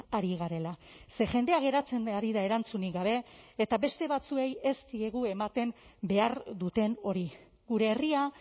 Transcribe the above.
ari garela ze jendea geratzen ari da erantzunik gabe eta beste batzuei ez diegu ematen behar duten hori gure herria